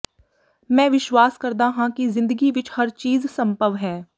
ਮੈਂ ਵਿਸ਼ਵਾਸ ਕਰਦਾ ਹਾਂ ਕਿ ਜ਼ਿੰਦਗੀ ਵਿਚ ਹਰ ਚੀਜ਼ ਸੰਭਵ ਹੈ